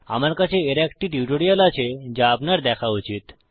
আমার কাছে এর একটি টিউটোরিয়াল আছে যা আপনার দেখা উচিত